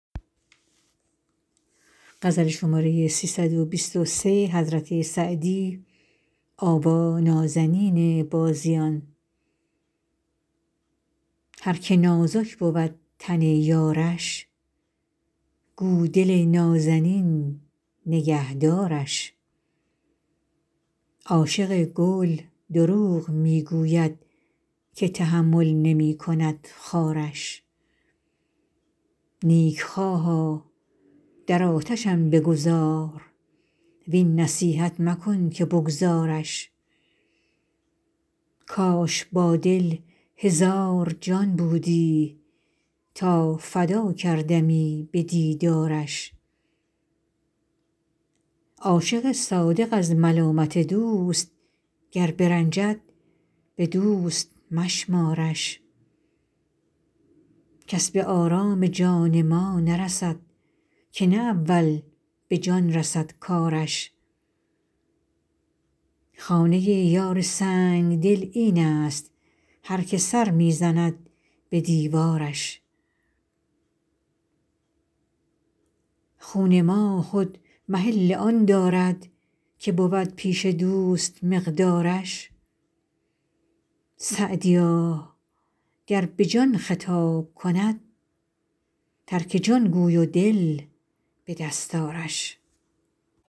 هر که نازک بود تن یارش گو دل نازنین نگه دارش عاشق گل دروغ می گوید که تحمل نمی کند خارش نیکخواها در آتشم بگذار وین نصیحت مکن که بگذارش کاش با دل هزار جان بودی تا فدا کردمی به دیدارش عاشق صادق از ملامت دوست گر برنجد به دوست مشمارش کس به آرام جان ما نرسد که نه اول به جان رسد کارش خانه یار سنگدل این است هر که سر می زند به دیوارش خون ما خود محل آن دارد که بود پیش دوست مقدارش سعدیا گر به جان خطاب کند ترک جان گوی و دل به دست آرش